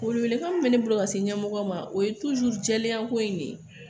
Welewelekan min bɛ ne bolo ka se ɲɛmɔgɔ ma o ye jɛlenya ko in de ye